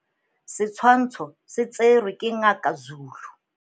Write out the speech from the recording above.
Setswhantsho se tserwe ke Ngaka Zulu.